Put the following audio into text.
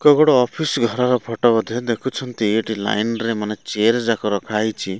କୋଉ ଗୋଟେ ଅଫିସ ଘରର ଫୋଟୋ ବୋଧେ ଏ ଦେଖୁଛନ୍ତି ଲାଇନ ରେ ମାନେ ଚେୟାର ଗୁଡା ରଖା ଯାଇଛି।